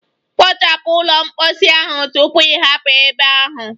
Kpochapu ụlọ mposi ahụ tupu ị hapụ ebe ahụ.